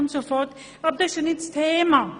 Aber das ist ja jetzt nicht das Thema.